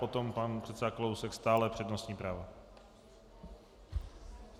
Potom pan předseda Kalousek, stále přednostní právo.